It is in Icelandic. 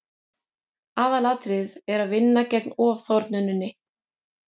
aðalatriðið er að vinna gegn ofþornuninni